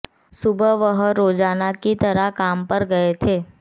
सुबह वह रोजाना की तरह काम पर गये थे